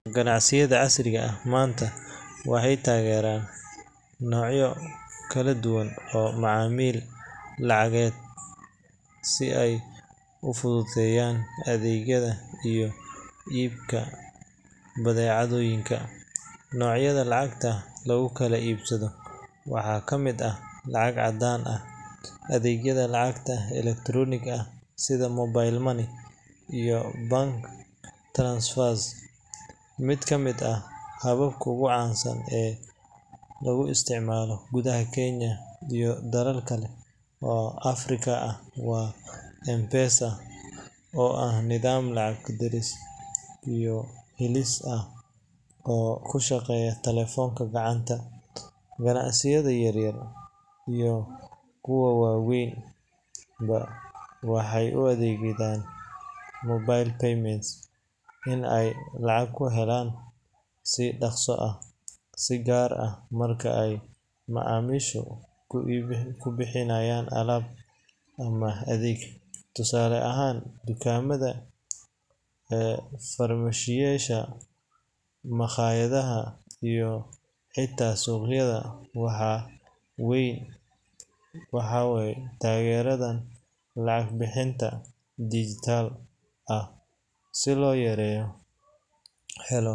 Ganacsiyada casriga ah maanta waxay taageeraan noocyo kala duwan oo macaamil lacageed ah si ay u fududeeyaan adeegyada iyo iibka badeecooyinka. Noocyada lacagta lagu kala iibsado waxaa ka mid ah lacag caddaan ah, adeegyada lacagta elektaroonigga ah sida mobile money, iyo bank transfers. Mid ka mid ah hababka ugu caansan ee lagu isticmaalo gudaha Kenya iyo dalal kale oo Afrika ah waa M-Pesa, oo ah nidaam lacag diris iyo helis ah oo ku shaqeeya taleefanka gacanta. Ganacsiyada yaryar iyo kuwa waaweynba waxay u adeegsadaan mobile payments in ay lacag ku helaan si dhaqso ah, si gaar ah marka ay macaamiishu ku bixinayaan alaab ama adeeg. Tusaale ahaan, dukaamada, farmashiyeyaasha, makhaayadaha, iyo xitaa suuqyada waa weyn waxay taageeraan lacag-bixinta digital ah si loo helo.